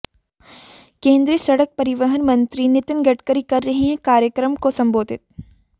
केंद्रीय सड़क परिवहन मंत्री नितिन गडकरी कर रहे हैं कार्यक्रम को संबोधित